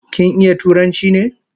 Kin iya turanchi ne?